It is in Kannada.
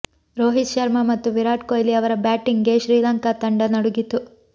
ರೋಹಿತ್ ಶರ್ಮಾ ಮತ್ತು ವಿರಾಟ್ ಕೊಹ್ಲಿ ಅವರ ಬ್ಯಾಟಿಂಗ್ಗೆ ಶ್ರೀಲಂಕಾ ತಂಡ ನಡುಗಿತು